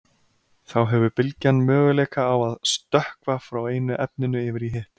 þá hefur bylgjan möguleika á að „stökkva“ frá einu efninu yfir í hitt